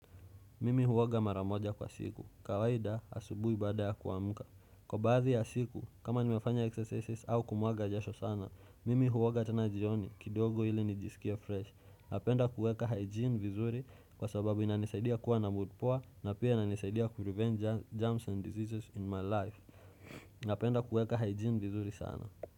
Mimi huoga mara moja kwa siku. Kawaida asubuhi baada ya kuamka. Kwa baadhi ya siku, kama nimefanya exercises au kumwaga jasho sana, mimi huoga tena jioni kidogo ili nijisikie fresh. Napenda kueka hygiene vizuri kwa sababu inanisaidia kuwa na mood poa na pia inanisaidia kurevenge germs and diseases in my life. Napenda kueka hygiene vizuri sana.